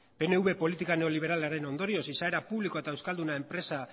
pnv politika neoliberalaren ondorioz izaera publikoa eta euskalduna